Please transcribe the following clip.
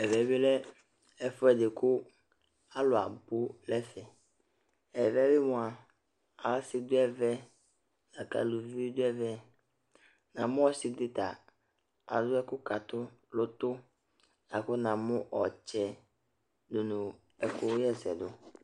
Ɛmɛ bɩ lɛ ɛfʋɛdɩ kʋ alʋ abʋ n' ɛfɛƐvɛ bɩ mʋa ,asɩ dʋ ɛvɛ la kʋ alʋvi bɩ dʋ ɛNa mʋ ɔsɩ dɩ ta alʋ ɛkʋ kʋ atʋ loto la kʋ na mʋ ɔtsɛ nʋ ɛkʋ ɣa ɛsɛ dʋ